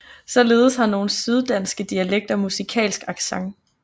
Således har nogle syddanske dialekter musikalsk accent